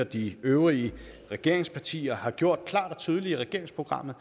de øvrige regeringspartier har gjort klart og tydeligt i regeringsprogrammet